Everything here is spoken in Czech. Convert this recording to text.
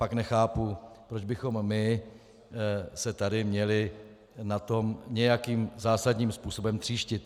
Pak nechápu, proč bychom se my tady měli na tom nějakým zásadním způsobem tříštit.